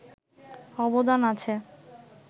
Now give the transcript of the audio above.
অবদান আছে